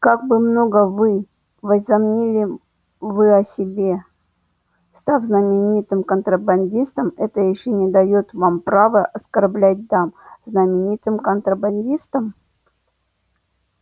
как бы много вы возомнили вы о себе став знаменитым контрабандистом это ещё не даёт вам права оскорблять дам знаменитым контрабандистом